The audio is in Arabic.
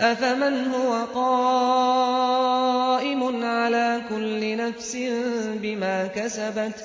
أَفَمَنْ هُوَ قَائِمٌ عَلَىٰ كُلِّ نَفْسٍ بِمَا كَسَبَتْ ۗ